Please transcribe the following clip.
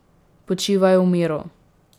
Počivaj v miru ...